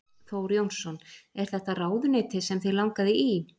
Þór Jónsson: Er þetta ráðuneyti sem þig langaði í?